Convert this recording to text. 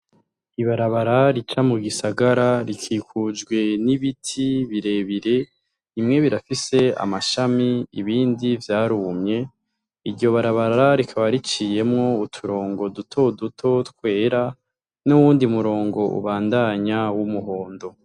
Ibarabara rica mu gisagara rikikujwe n'ibiti birebire imwe birafise amashami ibindi vyarumye iryo barabara rikaba riciyemwo uturongo duto duto twera n'uwundi murongo ubandanya w'umuhondo.